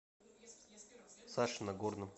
сашей нагорным